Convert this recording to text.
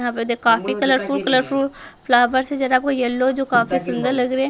यहाँ पे तो काफी कलरफुल कलरफुल फ्लावर्स है जरा आपको येलो जो काफी सुंदर लग रहे हैं।